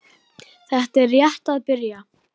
Þetta er rétt að byrja.